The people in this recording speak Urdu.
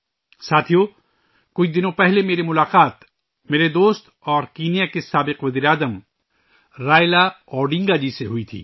ساتھیو، کچھ دن پہلے میری ملاقات ، میرے دوست اور کینیا کے سابق وزیر اعظم رائلا اوڈنگا جی سے ہوئی تھی